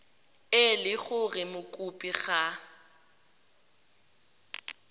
e le gore mokopi ga